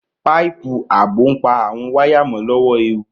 Páìpù ààbò ń pa àwon waya mo lọ́wọ́ ewu